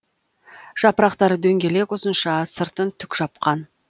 жапырақтары дөңгелек ұзынша сыртын түк жапқан